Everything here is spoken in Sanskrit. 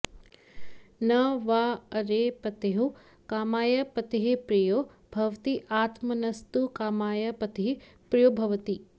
न॒ वा॒ अरे प॒त्युः का॒माय प॒तिः प्रियो॒ भवति आत्म॒नस्तु॒ का॒माय प॒तिः प्रियो॒ भवति